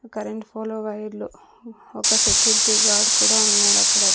Current ఫోలు వైర్లు ఒక సెక్యూరిటీ గార్డ్ కూడా ఉన్నాడక్కడ.